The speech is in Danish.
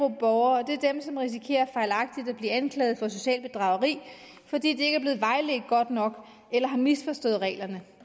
af borgere og det er dem som risikerer fejlagtigt at blive anklaget for socialt bedrageri fordi de ikke er blevet vejledt godt nok eller har misforstået reglerne